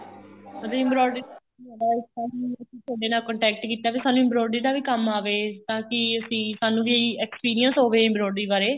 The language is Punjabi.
ਉਹਦੀ embroidery ਅਸੀਂ ਤੁਹਾਡੇ ਨਾਲ contact ਕੀਤਾ ਵੀ ਸਾਨੂੰ embroidery ਦਾ ਵੀ ਕੰਮ ਆਵੇ ਤਾਂ ਕੀ ਅਸੀਂ ਸਾਨੂੰ ਵੀ experience ਹੋਵੇ embroidery ਬਾਰੇ